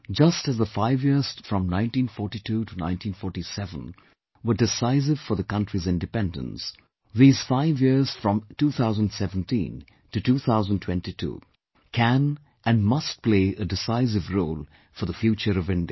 Just as the five years from 1942 to 1947 were decisive for the country's Independence, these five years from 2017 to 2022 can and must play a decisive role for the future of India